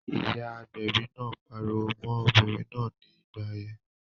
Ìyá agbẹ̀bi náà pariwo mọ́n obìnrin náà ní ìgbà yẹn